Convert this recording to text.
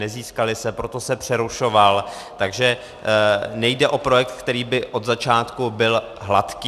Nezískaly se, proto se přerušoval, takže nejde o projekt, který by od začátku byl hladký.